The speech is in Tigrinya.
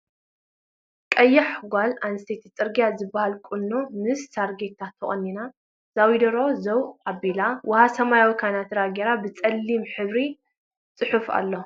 ቀያሕ ጎል ኣንስትየቲ ፅረግያ ዝብለሃል ቁኖ ምስ ሳርዴታ ተቆኒና ዘዊደሮ ዘው ኣቢላ ውሃ ሰማያዊ ከናትራ ገይራ ብፀሊም ሕብሪ ፅሑፍ ኣለዎ።